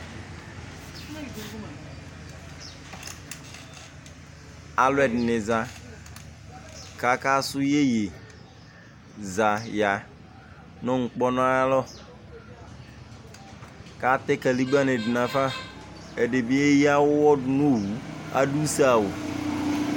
aluɛdɩnɩ za kakasu yeye za ya nʊ nukpɔnu ayalɔ, kʊ atɛ kadegbǝ dʊ nafa, ɛdɩbɩ eyǝ uwɔ dʊ nʊ owu kʊ adʊ use awʊ